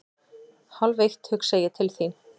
Hálfeitt hugsa ég til þín.